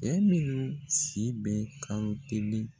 Cɛ minnu si bɛ kalo kelen